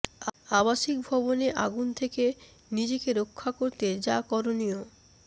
আবাসিক ভবনে আগুন থেকে নিজেকে রক্ষা করতে যা করণীয়